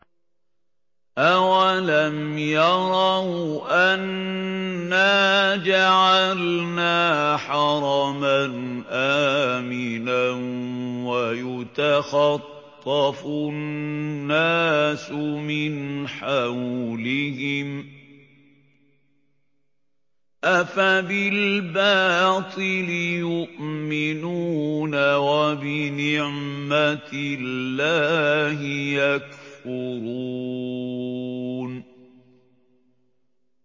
أَوَلَمْ يَرَوْا أَنَّا جَعَلْنَا حَرَمًا آمِنًا وَيُتَخَطَّفُ النَّاسُ مِنْ حَوْلِهِمْ ۚ أَفَبِالْبَاطِلِ يُؤْمِنُونَ وَبِنِعْمَةِ اللَّهِ يَكْفُرُونَ